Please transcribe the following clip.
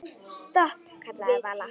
Stopp, kallaði Vala.